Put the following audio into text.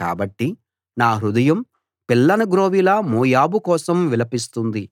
కాబట్టి నా హృదయం పిల్లనగ్రోవిలా మోయాబు కోసం విలపిస్తుంది